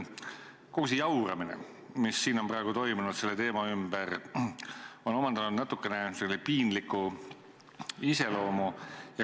Kogu see jauramine, mis siin on praegu toimunud selle teema ümber, on omandanud natukene piinliku iseloomu.